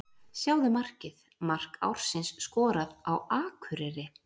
Sjáðu markið: Mark ársins skorað á Akureyri?